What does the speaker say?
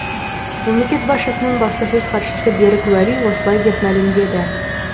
мемлекет басшысының баспасөз хатшысы берік уәли осылай деп мәлімдеді